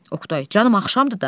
Oqtay, canım axşamdır da.